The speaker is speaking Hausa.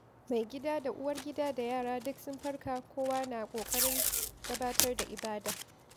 Maigida da Uwargida da yara duk sun farka, kowa na ƙoƙarin gabatar da ibada.